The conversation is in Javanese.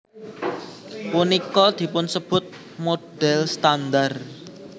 Punika dipunsebut model standar